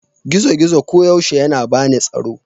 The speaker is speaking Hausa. gizo-gizo koyaushe yana bani tsaro